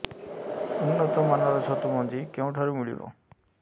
ଉନ୍ନତ ମାନର ଛତୁ ମଞ୍ଜି କେଉଁ ଠାରୁ ମିଳିବ